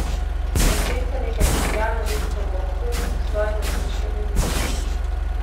Dekletce nekaj čeblja na dedkovo uho v svojem otroškem jeziku.